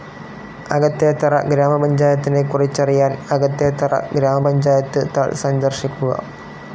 അകത്തേത്തറ ഗ്രാമപഞ്ചായത്തിനെക്കുറിച്ചറിയാൻ അകത്തേത്തറ ഗ്രാമപഞ്ചായത്ത് താൾ സന്ദർശിക്കുക.